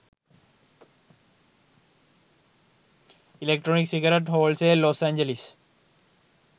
electronic cigarette wholesale los angeles